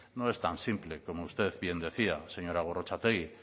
no es tan simple como usted bien decía señora gorrotxategi